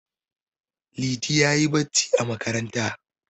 Liti ya yi barci a makaranta.